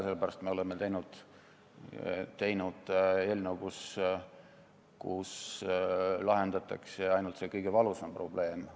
Sellepärast oleme teinud eelnõu, kus lahendatakse ainult see kõige valusam probleem.